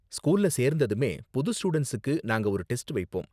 ஸ்கூல்ல சேர்ந்ததுமே புது ஸ்டூடண்ட்ஸுக்கு நாங்க ஒரு டெஸ்ட் வைப்போம்.